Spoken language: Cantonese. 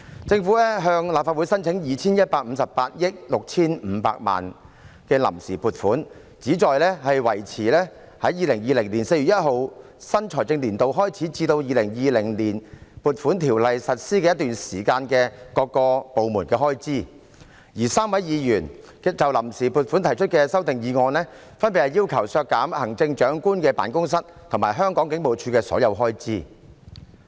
政府向立法會申請 2,158 億 6,500 萬元的臨時撥款，旨在維持在2020年4月1日新財政年度開始至《2020年撥款條例》實施的一段期間的各部門開支，而3位議員就臨時撥款決議案提出的修訂議案，分別要求削減特首辦及香港警務處的所有開支。